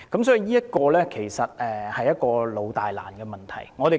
所以，這是一個"老、大、難"的問題。